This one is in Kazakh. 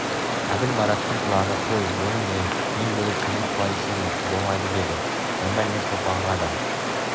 әбіл мараттың құлағына қой оның не мен бөлектеніп қалай ішемін болмайды деді онда мен шолпанға да